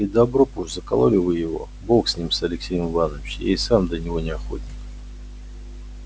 и добро б уж закололи вы его бог с ним с алексеем иванычем и сам до него не охотник